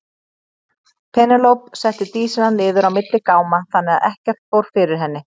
Penélope setti Dísina niður á milli gáma þannig að ekkert fór fyrir henni.